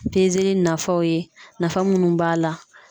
nafaw ye nafa munnu b'a la.